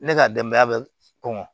Ne ka denbaya bɛ kɔngɔ